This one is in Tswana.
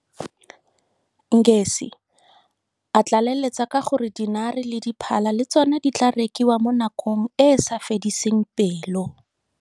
Ngesi, a tlaleletsa ka gore dinare le diphala le tsone di tla rekiwa mo nakong e e sa fediseng pelo.